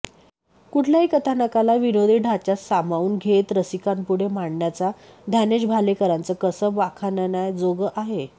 कुठल्याही कथानकाला विनोदी ढाच्यात सामावून घेत रसिकांपुढे मांडण्याचं ज्ञानेश भालेकरांचं कसब वाखाणण्याजोगं आहे